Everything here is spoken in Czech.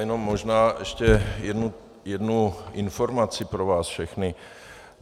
Jenom možná ještě jednu informaci pro vás všechny.